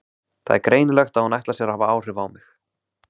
Það er greinilegt að hún ætlar sér að hafa áhrif á mig.